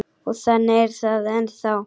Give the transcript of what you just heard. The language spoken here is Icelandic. Og þannig er það ennþá.